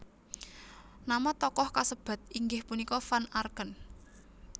Nama toko kasebat inggih punika Van Arken